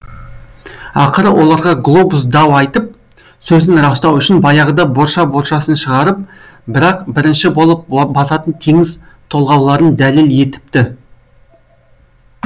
ақыры оларға глобус дау айтып сөзін растау үшін баяғыда борша боршасын шығарып бірақ бірінші болып басатын теңіз толғауларын дәлел етіпті